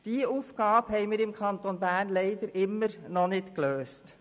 Diese Aufgabe haben wir im Kanton Bern leider immer noch nicht gelöst.